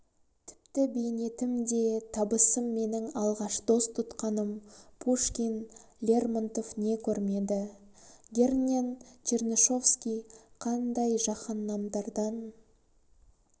тіпті бейнетім де табысым менің алғаш дос тұтқаным пушкин лермонтов не көрмеді герңен чернышевский қандай жаһаннамдардан